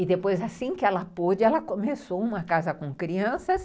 E depois, assim que ela pôde, ela começou uma casa com crianças.